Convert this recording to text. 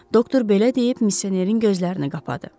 Doktor belə deyib misionerin gözlərini qapadı.